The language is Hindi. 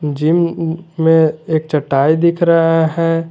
जिम में एक चटाई दिख रहा है।